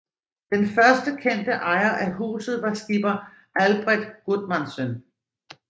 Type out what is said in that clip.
Den første kendte ejer af huset var skipper Albret Gudmandsen